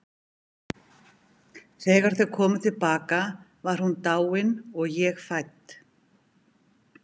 Þegar þau komu til baka var hún dáin og ég fædd.